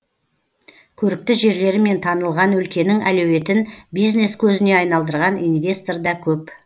көрікті жерлерімен танылған өлкенің әлеуетін бизнес көзіне айналдырған инвестор да көп